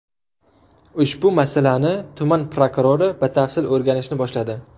Ushbu masalani tuman prokurori batafsil o‘rganishni boshladi.